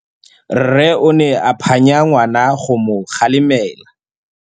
Rre o ne a phanya ngwana go mo galemela.